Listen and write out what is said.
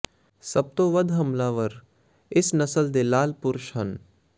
ਸਭ ਤੋਂ ਵੱਧ ਹਮਲਾਵਰ ਇਸ ਨਸਲ ਦੇ ਲਾਲ ਪੁਰਸ਼ ਹਨ